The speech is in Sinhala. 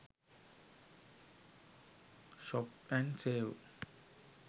shop n save